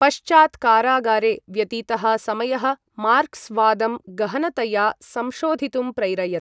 पश्चात् कारागारे व्यतीतः समयः मार्क्स् वादं गहनतया संशोधितुं प्रैरयत्।